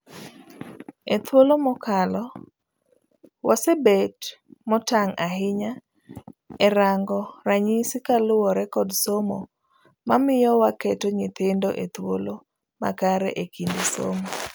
Ethuolo mokalo, wasebet motang' ahinya erango ranyisi kaluwpore kod somo mamiyo waketo nyithindo ethuolo makare ekinde somo.